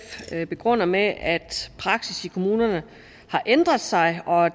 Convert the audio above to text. begrunder med at praksis i kommunerne har ændret sig og